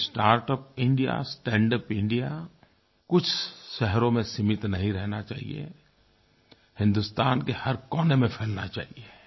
ये startup India standup India कुछ शहरों में सीमित नहीं रहना चाहिये हिन्दुस्तान के हर कोने में फैलना चाहिये